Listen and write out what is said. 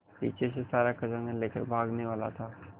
पीछे से सारा खजाना लेकर भागने वाला था